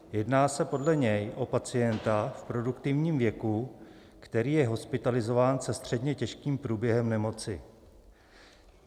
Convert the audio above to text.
Jedná se podle něj o pacienta v produktivním věku, který je hospitalizován se středně těžkým průběhem nemoci.